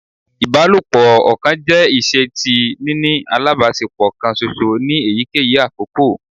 Ibalopo ọkan jẹ iṣe ti nini alabaṣepọ kan ṣoṣo ni eyikeyi akoko